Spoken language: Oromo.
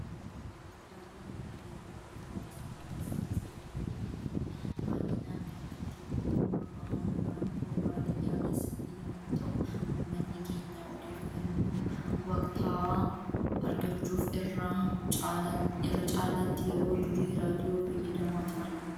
Raadiyoon meeshaalee miidiyaa hawaasummaa keessaa isa tokko yemmuu ta'u baayyinaan kan itti dhimma bahamu naannoo badiyyaa keessatti yemmuu ta'u, uummanni keenya odeeffannoo waktaawaa argachuuf irra caalaatti yeroo durii raadiyoo fayyadamaa turan.